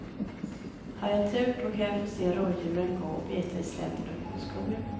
Har jag tur då kan jag få se rådjuren gå och beta i slänten upp mot skogen.